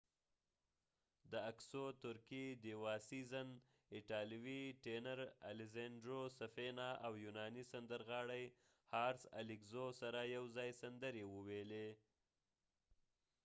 ترکې ديوا سیزن diva sezen اکسو aksu د ایټالوي ټینر الیسینډرو سفینا italian tenor safina او یونانی سندرغاړی حارس الیګزو haris alexiou سره یو ځای سندرې وويلی